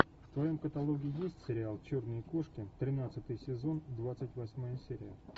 в твоем каталоге есть сериал черные кошки тринадцатый сезон двадцать восьмая серия